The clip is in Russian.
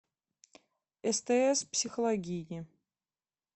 стс психологини